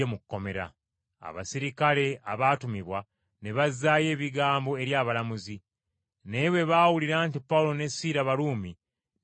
Abaserikale abaatumibwa ne bazzaayo ebigambo eri abalamuzi. Naye bwe baawulira nti Pawulo ne Siira Baruumi ne batya nnyo.